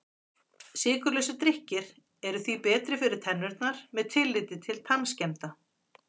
Sykurlausir drykkir eru því betri fyrir tennurnar með tilliti til tannskemmda.